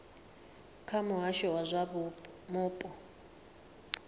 kha muhasho wa zwa mupo